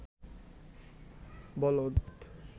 বলদ